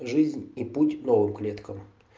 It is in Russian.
жизнь и путь новым клеткам